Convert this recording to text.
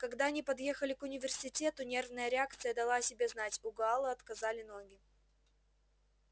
когда они подъехали к университету нервная реакция дала о себе знать у гаала отказали ноги